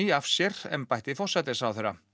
af sér embætti forsætisráðherra